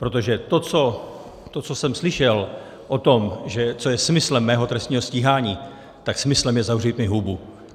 Protože to, co jsem slyšel o tom, co je smyslem mého trestního stíhání, tak smyslem je zavřít mi hubu.